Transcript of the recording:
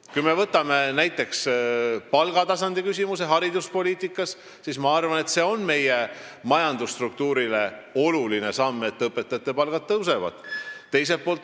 Kui me võtame näiteks palgatasandi hariduspoliitikas, siis ma arvan, et see on meie majandusstruktuurile oluline samm, et õpetajate töötasu tõuseb.